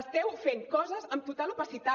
esteu fent coses amb total opacitat